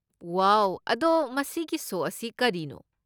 ꯋꯥꯎ! ꯑꯗꯣ ꯃꯁꯤꯒꯤ ꯁꯣ ꯑꯁꯤ ꯀꯔꯤꯅꯣ?